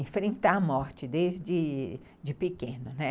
enfrentar a morte desde de pequeno, né.